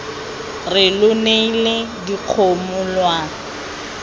re lo neile dikgomo lwa